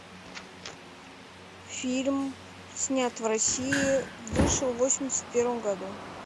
фильм снят в россии вышел в восемьдесят первом году